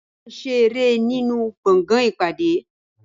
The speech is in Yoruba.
Wọ́n máa ń ṣe eré nínú gbọ̀ngàn ìpàdé.